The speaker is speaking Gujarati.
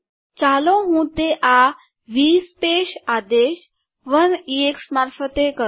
ચાલો હું તે આ વી સ્પેસ આદેશ ઇએક્ષ 1 ઉદાહરણ મારફતે કરું